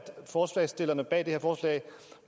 forslagsstillerne bag det her forslag